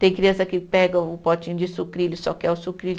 Tem criança que pega o potinho de sucrilhos, só quer o sucrilho.